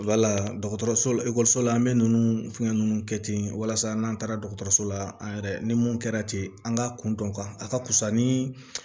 Wala dɔgɔtɔrɔso la ekɔliso la an bɛ ninnu fɛngɛ ninnu kɛ ten walasa n'an taara dɔgɔtɔrɔso la an yɛrɛ ni mun kɛra ten an ka kundɔn a ka fisa ni